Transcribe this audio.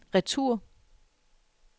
retur